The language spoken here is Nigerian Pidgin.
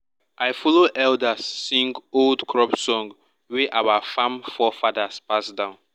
i follow elders sing old crop song wey our farm forefathers pass down.